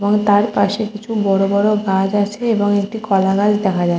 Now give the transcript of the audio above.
তার পাশে কিছু বড়ো বড়ো গাছ আছে এবং একটি কলা গাছ দেখা যা--